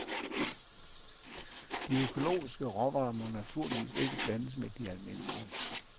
De økologiske råvarer må naturligvis ikke blandes med de almindelige.